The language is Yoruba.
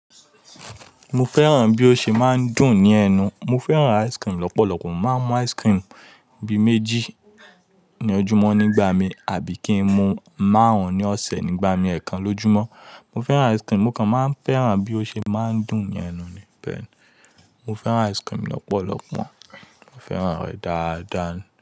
Mo fẹ́ràn bí ó ṣe máa ń dùn ní ẹnu. Mo fẹ́ràn ice cream lọ́pọ̀lọpọ̀. Mo máa ń mú ice cream bíi méjì ní ojúmọ́ nígbà mi, àbí kí n mu márùn-ún ní ọ̀sẹ̀ nígbà mi ẹ̀ẹ̀kan lójúmọ́. Mo fẹ́ràn ice cream. Mo kàn máa ń fẹ́ràn bí ó ṣe máa ń dùn ní ẹnu ni. Bẹ́ẹ̀ni, mo fẹ́ràn ice cream lọ́pọ̀lọpọ̀. Mo fẹ́ràn rẹ̀ dáadáa.